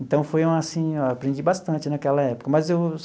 Então, foi assim, eu aprendi bastante naquela época mas eu.